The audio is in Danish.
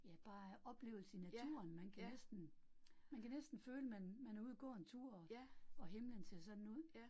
Ja, bare oplevelse i naturen, man kan næsten, man kan næsten føle man man er ude og gå en tur, og og himlen ser sådan ud